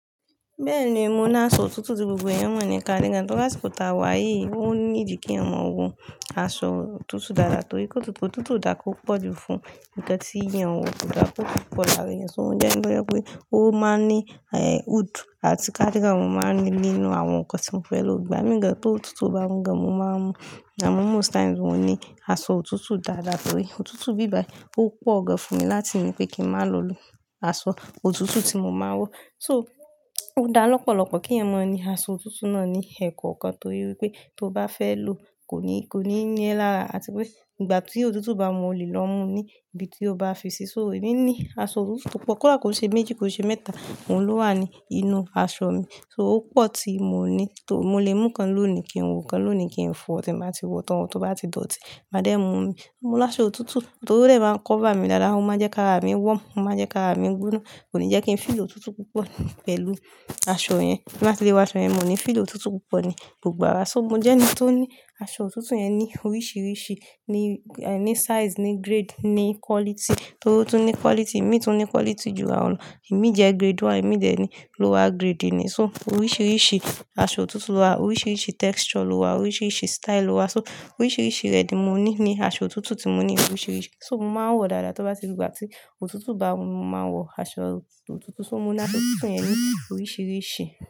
Bẹ́ẹ̀ni, mo ní aṣọ òtútù tí gbogbo ẹ̀yàn mọ̀ ní káàdì gan. Tọ́ dàsì kò ta wá yìí, ó ní ìdí kí ọmọ wọ aṣọ òtútù dáadáa torí pé òtútù ò dára kó pọ̀ jù fún ǹkan tí ìyẹn wọ kò dára kó pọ̀ láàárín ẹ̀san. Mo jẹ́ ẹni tó yẹ pé ó máa ń ní, eh, hood àti káàdìgàn mo máa ń rí nínú àwọn nǹkan tí mo fẹ́ lọ gbà mí gan. Tó òtútù bá wọ́n gan, mo máa ń mu. Àmọ́ most times mo ní aṣọ òtútù dáadáa torí òtútù bíbà, ó pọ̀ gan fún mi láti yí pé kí n máa lò ilò aṣọ òtútù tí mo máa ń wọ. So, ó dá lọ́pọ̀lọ́pọ̀ kí ẹ̀yàn má ni aṣọ òtútù náà ní ẹ̀kànkan torí pé tó bá fẹ́ lò kò ní, kò ní ní ẹlára àti pé ìgbà tí òtútù bá mú olì lọ mú ní ibi tí ó bá fi sí. So, èmi ní aṣọ òtútù púpọ́ kódà kò ṣe méjì, kò ṣe mẹ́ta, òun ló wà ní inú aṣọ mi. So, ó pọ̀ tí mò ní tó, mo lè mú kan lọ́ òní kí n wọ, kan lọ́ òní kí n fọ̀ tí màá ti wọ̀ tán. Tó bá ti dọ̀tí, mádémù mú mó ní áṣò òtútù tó rẹ́ máa ń cover mi dáadáa, ó máa ń jẹ́ ká àrá mi wọ́n, ó máa ń jẹ́ ká àrá mi gbóná. Kò ní jẹ́ kí n feel òtútù púpọ̀ pẹ̀lú aṣọ yẹn. Bí bàá ti lé wò aso yen mó ní feel ótútú púpó ní gbògbò ára. So, mo jẹ́ ẹni tó ní aṣọ òtútù yẹn ní oríṣìíríṣìí, ní, eh, ní size, ní grade, ní quality. Torí òtútù ní quality, ẹ̀mí tún ní quality jù àwọn lọ. Ẹ̀mí jẹ́ grade one, ẹ̀mí dẹ̀ ní lower grade ni. So, oríṣìíríṣìí aṣọ òtútù wà, oríṣìíríṣìí texture ló wà, oríṣìíríṣìí style ló wà. So, oríṣìíríṣìí rẹ̀ ni mo ní ní aṣọ òtútù tí mo ní oríṣìíríṣìí. So, mo máa ń wọ dáadáa tó bá ti dé ìgbà tí òtútù bá mú, mo máa ń wọ aṣọ òtútù. So, mo ní aṣọ òtútù yẹn ní oríṣìíríṣìí.